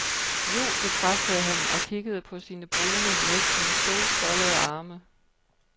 Jo, bekræftede han og kiggede på sine brune, næsten solskoldede arme.